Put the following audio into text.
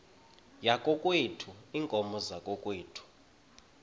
yakokwethu iinkomo zakokwethu